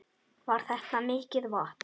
Jón: Var þetta mikið vatn?